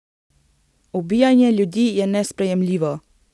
Ubijanje ljudi je nesprejemljivo.